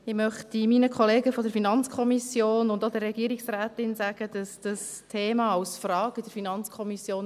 Ich möchte meinen Kollegen von der FiKo und auch der Regierungsrätin sagen, dass dieses Thema als Frage in der FiKo war.